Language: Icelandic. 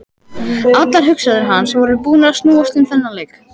Allar hugsanir hans voru búnar að snúast um þennan leik.